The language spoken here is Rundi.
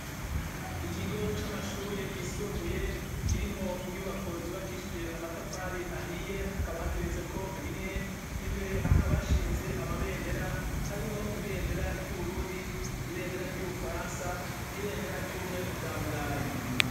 Ikigo c'amashure yisumbuye kirimwo inyubako zubakishije amatafari ahiye hakaba hageretseko rimwe imbere hakabashinze amabendera harimwo ibendera ry'uburundi ibendera ry'ubufaransa n'ibendera ry'ubumwe bwa burayi.